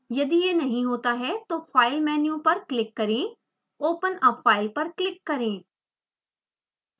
यदि यह नहीं होता है तो file मेन्यु पर क्लिक करें open a file पर क्लिक करें